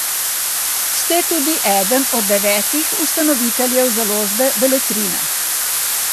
Ste tudi eden od devetih ustanoviteljev založbe Beletrina.